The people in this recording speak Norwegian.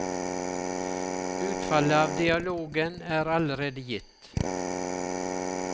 Utfallet av dialogen er allerede gitt.